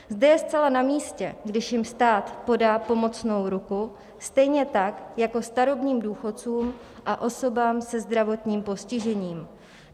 Zde je zcela na místě, když jim stát podá pomocnou ruku, stejně tak jako starobním důchodcům a osobám se zdravotním postižením.